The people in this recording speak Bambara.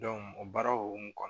o baaraw hokumu kɔnɔ